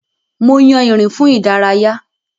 Mo yàn ìrìn fún ìdárayá.